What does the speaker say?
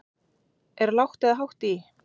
Er lágt eða hátt í?